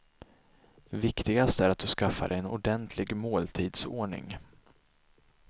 Viktigast är att du skaffar dig en ordentlig måltidsordning.